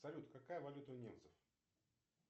салют какая валюта у немцев